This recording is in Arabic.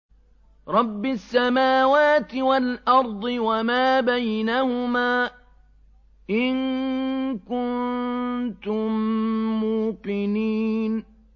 رَبِّ السَّمَاوَاتِ وَالْأَرْضِ وَمَا بَيْنَهُمَا ۖ إِن كُنتُم مُّوقِنِينَ